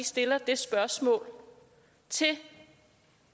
stiller det spørgsmål til